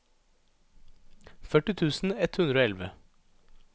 førti tusen ett hundre og elleve